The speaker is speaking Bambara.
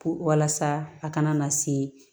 Puru walasa a kana na se